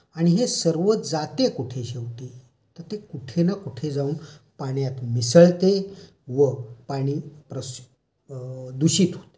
आणि हे सर्व जाते कुठे शेवटी? तर ते कुठे न कुठे जाऊन पाण्यात मिसळते व पाणी दूषित होते.